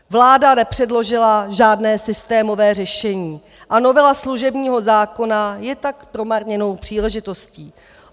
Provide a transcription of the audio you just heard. Vláda nepředložila žádné systémové řešení, a novela služebního zákona je tak promarněnou příležitostí.